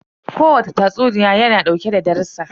Ko wane tatsuniya ya na dauke da darussan.